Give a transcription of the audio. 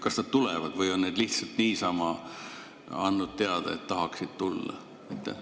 Kas nad tulevad või on nad lihtsalt niisama andnud teada, et tahaksid tulla?